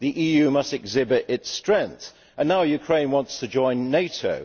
The EU must exhibit its strength, and now Ukraine wants to join NATO.